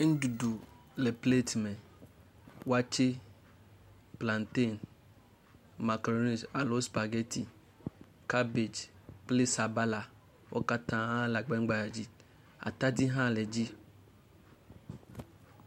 Nuɖuɖu le plate me. Wakye, plantain, macaroni alo spaghetti, cabbage kple sabala. Wo katã wole agba gbadze dzi. Atadi hã le edzi.